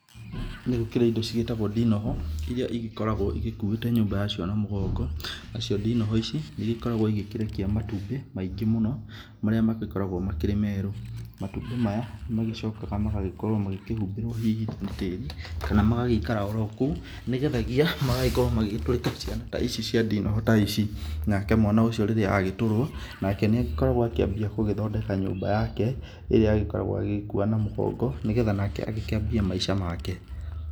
Nĩ gũkĩrĩ indo cigĩtagwo ndinoho, irĩa ĩgĩkoragwo igĩkuite nyũmba yacio na mũgongo, na cio ndinoho ici nĩ igĩkoragwo igĩkĩrekia matumbĩ maingĩ mũno marĩa magĩkoragwo makĩrĩ merũ. Matumbĩ maya, nĩ magĩcokaga magagĩkorwo magĩkĩhumbĩrwo hihi na tĩri kana magagĩikara oro kũu, nĩgethagia magagĩkorwo magĩtũrĩka ciana ta ici cia ndinoho ta ici. Nake mwana ũcio rĩrĩa agĩtũrwo nake nĩ agĩkoragwo akĩambia gũgĩthondeka nyũmba yake ĩrĩa agĩkoragwo agĩgĩkua na mũgongo, nĩgetha nake agĩkĩambie maisha make.